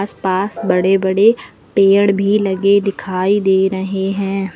पास बड़े बड़े पेड़ भी लगे दिखाई दे रहे हैं।